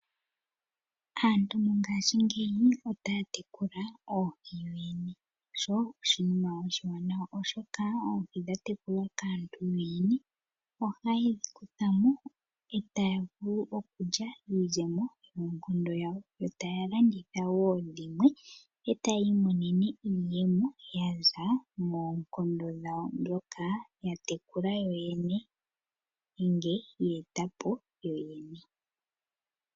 Aantu mongashingeyi otaa tekula oohi yoyene sho oshinima oshiwanawa, oshoka oohi dha tekulwa kantu yene ohaye dhi kutha mo e taya vulu okulya iizemo yoonkondo dhawo. Yo taya landithatha wo oohi dhimwe e taye imonene iiyemo yaza moonkondo dhawo dhoka ya tekula yoyene, nenge yeeta po yo ye ne.